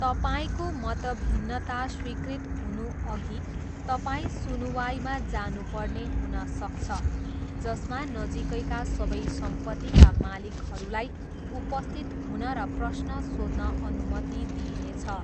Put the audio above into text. तपाईँको मतभिन्नता स्वीकृत हुनुअघि तपाईँ सुनुवाइमा जानुपर्ने हुन सक्छ, जसमा नजिकैका सबै सम्पत्तिका मालिकहरूलाई उपस्थित हुन र प्रश्न सोध्न अनुमति दिइनेछ।